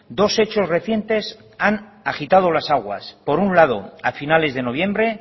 dos hechos recientes han agitado las aguas por un lado a finales de noviembre